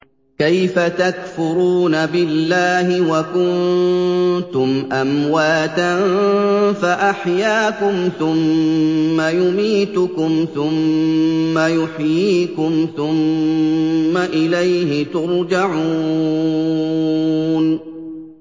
كَيْفَ تَكْفُرُونَ بِاللَّهِ وَكُنتُمْ أَمْوَاتًا فَأَحْيَاكُمْ ۖ ثُمَّ يُمِيتُكُمْ ثُمَّ يُحْيِيكُمْ ثُمَّ إِلَيْهِ تُرْجَعُونَ